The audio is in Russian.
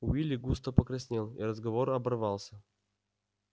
уилли густо покраснел и разговор оборвался